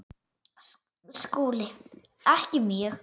SKÚLI: Ekki mjög.